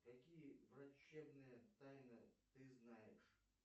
какие врачебные тайны ты знаешь